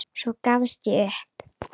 Svo gafst ég upp.